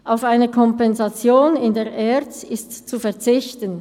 Auf eine Kompensation in der ERZ ist zu verzichten.